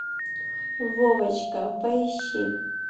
вовочка поищи